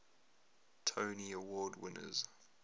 tony award winners